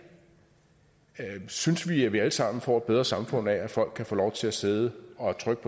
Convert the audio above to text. synes vi at vi alle sammen får et bedre samfund af at folk kan få lov til at sidde og trykke